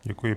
Děkuji.